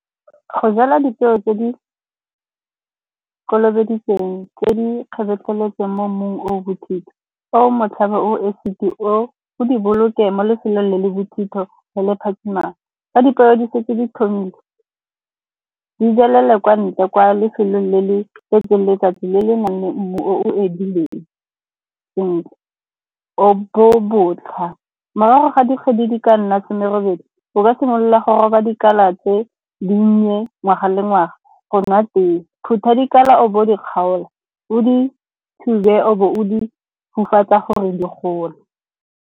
Go jalwa dipeo tse di kolobeditsweng, tse di feteletseng mo mmung o bothitho, o motlhaba, o . O di boloke mo lefelong le le bothitho, le le phatshimang ka di se tse di thomile. Di jalele kwa ntle kwa lefelong le le tletseng letsatsi, le le nang le mmu o edileng sentle, o bo botlha. Morago ga dikgwedi di ka nna some robedi, o ka simolola go roba dikala tse di nnye ngwaga le ngwaga go nwa tee. Phuta dikala o bo o di kgaola, o di thube, o bo o di gore di gole.